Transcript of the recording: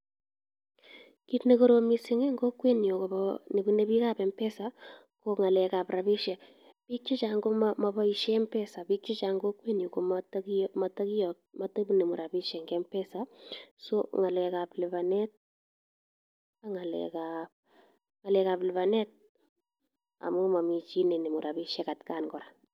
Kiit nekorom mising en kokwenyun kobo nebune biikab mpesa ko ng'alekab rabishek, biik chechang komoboishen mpesa biik chechang en kokwenyun komoto kinemu rabishek en mpesa, so ng'alekab libanet ak ng'alekab libanet amun momii chii nenemu rabishek atkan kora.